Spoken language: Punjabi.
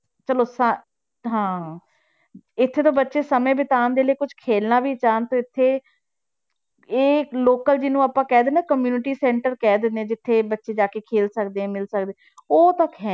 ਚਲੋ ਸ~ ਹਾਂ ਇੱਥੇ ਤਾਂ ਬੱਚੇ ਸਮੇਂ ਬਤਾਉਣ ਦੇ ਲਈ ਕੁਛ ਖੇਲਣਾ ਵੀ ਚਾਹੁਣ ਤੇ ਇੱਥੇ ਇਹ local ਜਿਹਨੂੰ ਆਪਾਂ ਕਹਿ ਦਿੰਦੇ ਹਾਂ community center ਕਹਿ ਦਿੰਦੇ ਹਾਂ, ਜਿੱਥੇ ਬੱਚੇ ਜਾ ਕੇ ਖੇਲ ਸਕਦੇ ਹੈ ਮਿਲ ਸਕਦੇ, ਉਹ ਤੱਕ ਹੈ